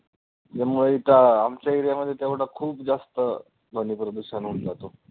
त्यामुळे इथं आमच्या area मध्ये तेवढं खूप जास्त ध्वनी प्रदूषण होऊन जातो.